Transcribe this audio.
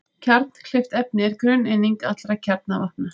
Kjarnkleyft efni er grunneining allra kjarnavopna.